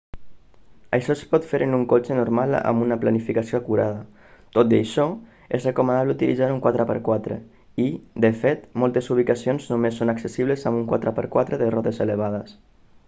això es pot fer en un cotxe normal amb una planificació acurada. tot i això és recomanable utilitzar un 4x4 i de fet moltes ubicacions només són accessibles amb un 4x4 de rodes elevades